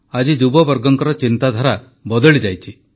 ଆଜି ଯୁବବର୍ଗଙ୍କର ଚିନ୍ତାଧାରା ବଦଳିଯାଇଛି